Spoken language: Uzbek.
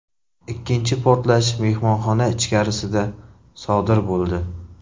Ikkinchi portlash mehmonxona ichkarisida sodir bo‘ldi.